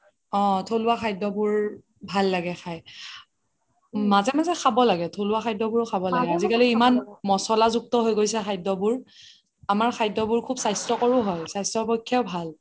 অহ থলুৱা খাদ্যবোৰ ভাল লাগে খাই মাজে মাজে খাব লাগে থলুৱা খাদ্যবোৰ খাব লাগে আজিকালি ইমান মচলা যুক্ত হৈ গৈছে খাদ্যবোৰ আমাৰ খাদ্যবোৰ খুব স্বাস্থ্যকৰও হয় স্বাস্থ্যৰ পক্ষে ভাল